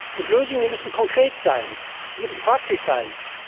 Und Lösungen müssen konkret sein, müssen praktisch sein.